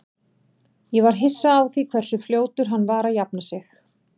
Ég var hissa á því hversu fljótur hann var að jafna sig.